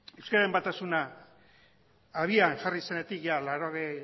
euskararen batasuna abian jarri zenetik mila bederatziehun eta laurogeita